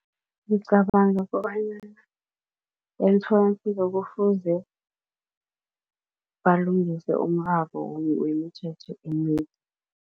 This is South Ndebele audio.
Ngicabanga kobanyana emtholampilo kufuze balungise umraro wemithetho eminye.